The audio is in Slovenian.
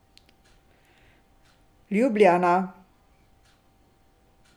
Ljubljana.